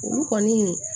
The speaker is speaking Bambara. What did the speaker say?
Olu kɔni